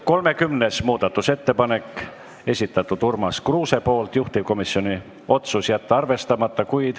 30. muudatusettepaneku on esitanud Urmas Kruuse, juhtivkomisjon otsus: jätta arvestamata.